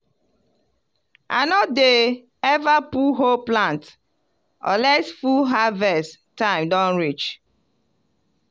i no dey ever pull whole plant unless full harvest time don reach.